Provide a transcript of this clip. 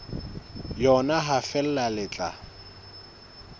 yona ha feela le tla